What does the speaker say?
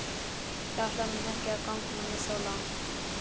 Ég ætlaði ekki að ganga svo langt.